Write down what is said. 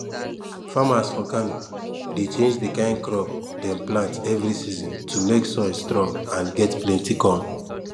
farmers for kano dey change the kind crop dem plant every season to make soil strong and get plenty corn